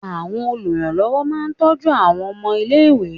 Àwọn oluranlowo máa ń tọ́jú àwọn ọmọ ilé-ìwé.